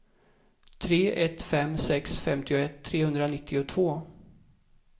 tre ett fem sex femtioett trehundranittiotvå